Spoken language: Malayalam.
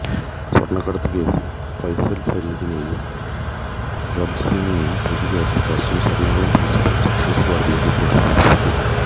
സ്വർണ്ണക്കടത്ത് കേസിൽ ഫൈസൽ ഫരീദിനെയും റബിൻസിനെയും പ്രതി ചേർത്ത് കസ്റ്റംസ് എറണാകുളം പ്രിൻസിപ്പൽ സെഷൻസ് കോടതിയിൽ റിപ്പോർട്ട് സമർപ്പിച്ചു